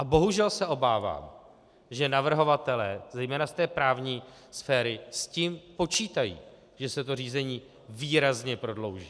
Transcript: A bohužel se obávám, že navrhovatelé, zejména z té právní sféry, s tím počítají, že se to řízení výrazně prodlouží.